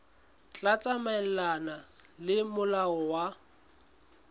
tla tsamaelana le molao wa